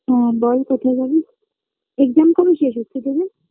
হম বল কথায় যাবি Exam কবে শেষ হচ্ছে তোদের